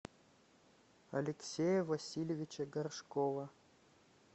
алексея васильевича горшкова